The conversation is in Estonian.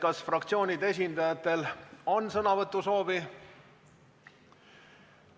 Kas fraktsioonide esindajatel on sõnavõtusoovi?